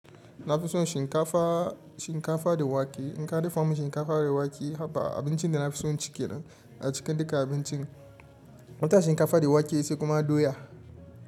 Na fi son shinkafa, shinkafa da wake. In ka dafa mun shinkafa da wake, haba! Abincin da na fi son ci ke nan a cikin duka abincin. Wata shinkafa da wake sai kuma doya.